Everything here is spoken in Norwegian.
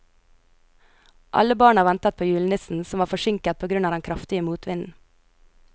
Alle barna ventet på julenissen, som var forsinket på grunn av den kraftige motvinden.